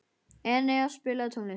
Enea, spilaðu tónlist.